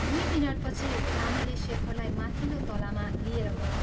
दुइ मिनटपछि रामेले शेखरलाई माथिल्लो तलामा लिएर गयो।